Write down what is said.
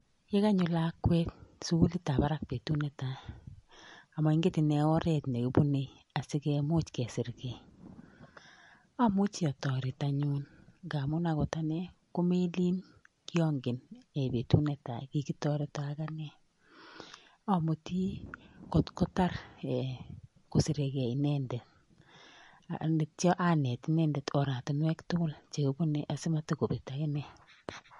Ye kanyo lakwet sugulit ap barak betuut netai, amainget ine oret nekibune asikemuch kesirgei amuche ataret anyun nagaamun akot ane komelin kiangen ee betut netai kikitoreto akane. amuti kotkotar kosiregei inendet atyo aneet inendet oratunwek tugul chekibune asimatogobet akine